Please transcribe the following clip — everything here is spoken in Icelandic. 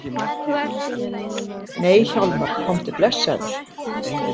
Nei Hjálmar, komdu blessaður!